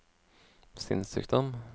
sinnssykdom